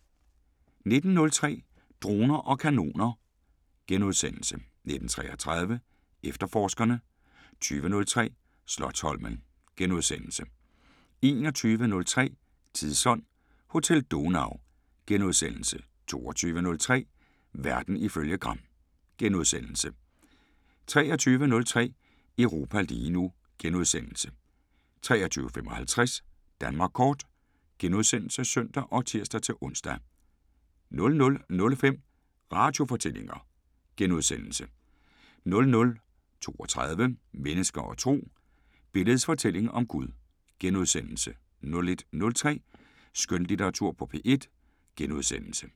19:03: Droner og kanoner * 19:33: Efterforskerne * 20:03: Slotsholmen * 21:03: Tidsånd: Hotel Donau * 22:03: Verden ifølge Gram * 23:03: Europa lige nu * 23:55: Danmark kort *(søn og tir-ons) 00:05: Radiofortællinger * 00:32: Mennesker og Tro: Billedets fortælling om Gud * 01:03: Skønlitteratur på P1 *